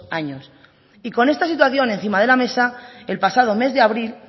años y con esta situación encima de la mesa el pasado mes de abril